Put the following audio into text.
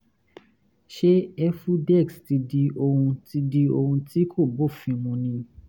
ṣé efudex ti di ohun tí ohun tí kò bófin mu ni?